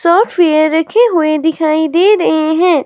शॉटफेयर रखे हुई दिखाई दे रहे हैं।